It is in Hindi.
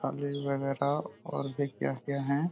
कॉलेज वगैरा और भी क्या-क्या है।